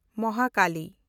ᱢᱟᱦᱟᱠᱟᱞᱤ